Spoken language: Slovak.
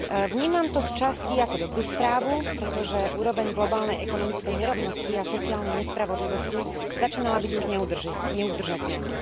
Vnímam to sčasti ako dobrú správu, pretože úroveň globálnej ekonomickej nerovnosti a sociálnej nespravodlivosti začínala byť už neudržateľná.